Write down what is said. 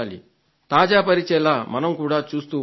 తాజా పరిచేలా మనం కూడా చూస్తూ ఉండాలి